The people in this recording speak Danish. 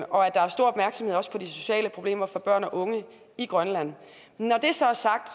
og at der er stor opmærksomhed også på de sociale problemer for børn og unge i grønland når det så er sagt